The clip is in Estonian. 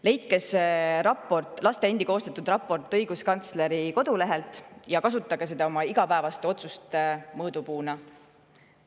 Leidke see laste endi koostatud raport õiguskantsleri kodulehelt üles ja kasutage seda oma igapäevaste otsuste mõõdupuuna.